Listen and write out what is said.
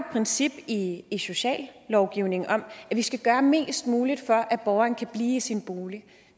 princip i sociallovgivningen om at vi skal gøre mest muligt for at borgeren kan blive i sin bolig